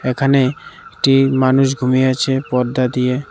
এখানে একটি মানুষ ঘুমিয়ে আছে পর্দা দিয়ে।